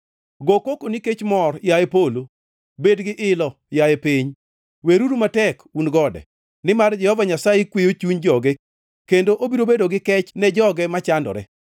Go koko nikech mor, yaye polo, bed gi ilo, yaye piny, weruru matek, un gode! Nimar Jehova Nyasaye kweyo chuny joge kendo obiro bedo gi kech ne joge machandore.